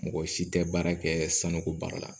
Mɔgɔ si tɛ baara kɛ sanuko baara la